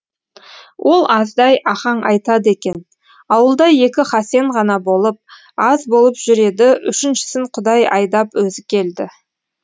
ол аздай ахаң айтады екен ауылда екі хасен ғана болып аз болып жүр еді үшіншісін құдай айдап өзі келді